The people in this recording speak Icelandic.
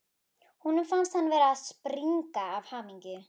Honum fannst hann vera að springa af hamingju.